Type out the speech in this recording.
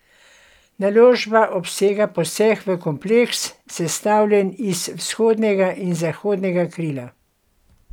Naložba obsega poseg v kompleks, sestavljen iz vzhodnega in zahodnega krila.